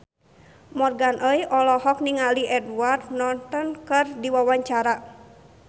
Morgan Oey olohok ningali Edward Norton keur diwawancara